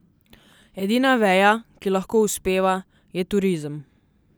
Edina veja, ki lahko uspeva, je turizem.